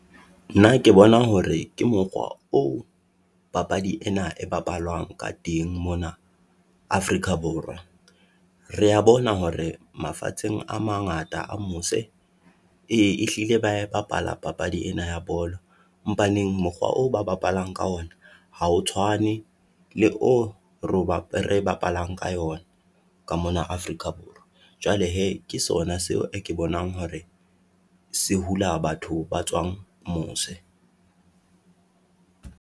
Nna ke bona hore ke mokgoa oo papadi ena e bapalwang ka teng mona Afrika Borwa. Re ya bona hore mafatsheng a mangata a mose, e ehlile ba e bapala papadi ena ya bolo, mpaneng mokgwa o ba bapalang ka ona ha o tshwane le oo re bapalang ka yona ka mona Afrika Borwa. Jwale hee, ke sona seo ke bonang hore se hula batho ba tsoang mose.